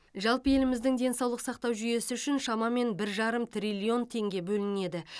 жалпы еліміздің денсаулық сақтау жүйесі үшін шамамен бір жарым триллион теңге бөлінеді